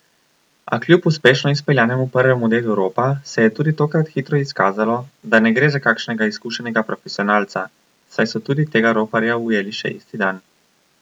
A kljub uspešno izpeljanemu prvemu delu ropa se je tudi tokrat hitro izkazalo, da ne gre za kakšnega izkušenega profesionalca, saj so tudi tega roparja ujeli še isti dan.